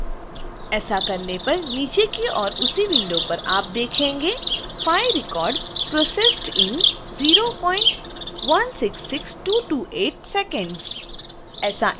ऐसा करने पर नीचे की ओर उसी विंडो पर आप 5 records processed in 0166228 seconds देखेंगे